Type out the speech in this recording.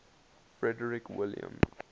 frederick william